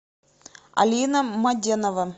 алина маденова